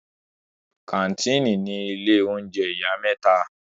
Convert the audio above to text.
Kàńtìnì ni ilé oúnjẹ ìyá mẹ́ta.